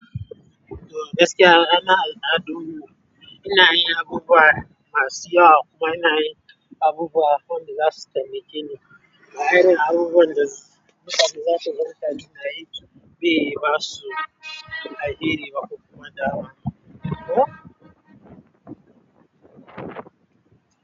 To gaskiya anan al'adu mu, ina yin abubuwa masu yawa kuma ina yin abubuwa waɗanda za su taimake ni. Ina yin abubuwan da mutane zasu ga mutane na yi bai basu alheri ba ko kuma daawa.